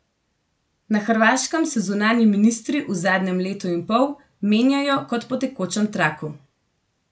Na Hrvaškem se zunanji ministri v zadnjem letu in pol menjajo kot po tekočem traku.